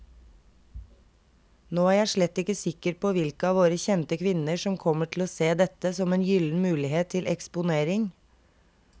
Nå er jeg slett ikke sikker på hvilke av våre kjente kvinner som kommer til å se dette som en gyllen mulighet til eksponering.